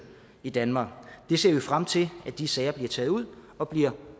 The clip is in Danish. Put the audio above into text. i danmark vi ser frem til at de sager bliver taget ud og bliver